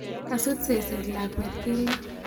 Kasus seset lakwet keldo.